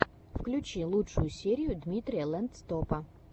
включи лучшую серию дмитрия лэндстопа